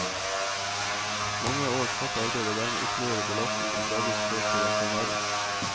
Mange års hardt arbeid og dermed ytterligere belastning har gradvis ført til en forverring.